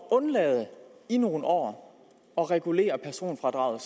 at undlade i nogle år at regulere personfradraget